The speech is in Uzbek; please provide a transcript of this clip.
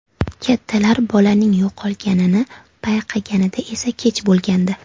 Kattalar bolaning yo‘qolganini payqaganida esa kech bo‘lgandi.